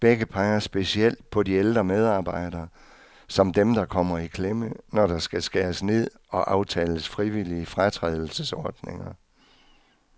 Begge peger specielt på de ældre medarbejdere, som dem, der kommer i klemme, når der skal skæres ned og aftales frivillige fratrædelsesordninger.